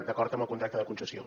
d’acord amb el contracte de concessió